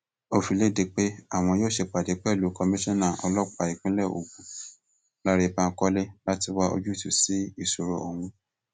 ó fi lédè pé àwọn yóò ṣèpàdé pẹlú komisanna ọlọpàá ìpínlẹ ogun lánrè bankole láti wá ojútùú sí ìṣòro ọhún